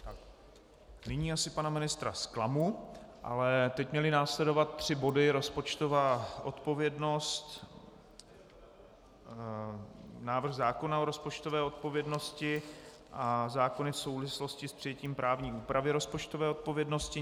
Nyní asi pana ministra zklamu, ale teď měly následovat tři body: rozpočtová odpovědnost, návrh zákona o rozpočtové odpovědnosti a zákony v souvislosti s přijetím právní úpravy rozpočtové odpovědnosti.